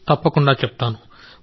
తప్పకుండా చెప్తాను